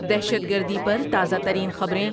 دہشت گردی پر تازہ ترین خبریں